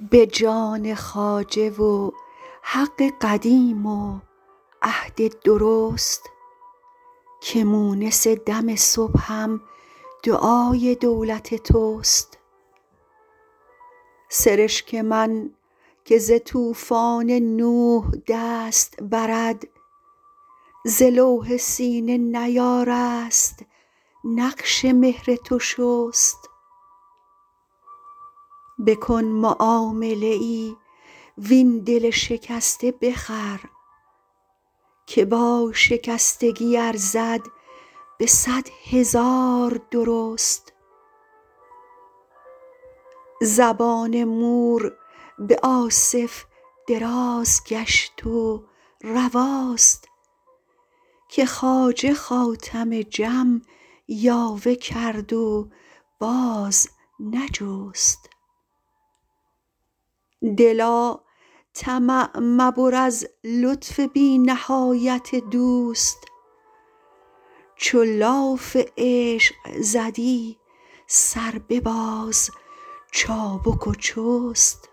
به جان خواجه و حق قدیم و عهد درست که مونس دم صبحم دعای دولت توست سرشک من که ز طوفان نوح دست برد ز لوح سینه نیارست نقش مهر تو شست بکن معامله ای وین دل شکسته بخر که با شکستگی ارزد به صد هزار درست زبان مور به آصف دراز گشت و رواست که خواجه خاتم جم یاوه کرد و باز نجست دلا طمع مبر از لطف بی نهایت دوست چو لاف عشق زدی سر بباز چابک و چست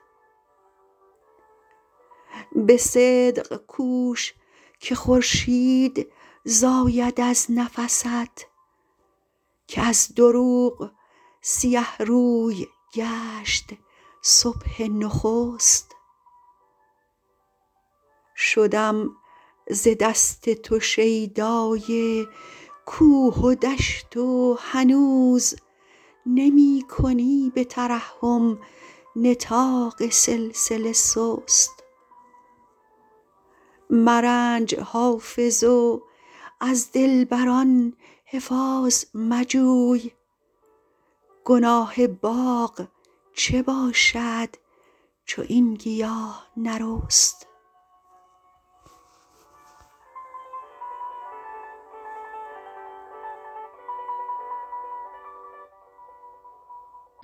به صدق کوش که خورشید زاید از نفست که از دروغ سیه روی گشت صبح نخست شدم ز دست تو شیدای کوه و دشت و هنوز نمی کنی به ترحم نطاق سلسله سست مرنج حافظ و از دلبر ان حفاظ مجوی گناه باغ چه باشد چو این گیاه نرست